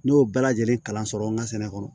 Ne y'o bɛɛ lajɛlen kalan sɔrɔ n ka sɛnɛ kɔnɔ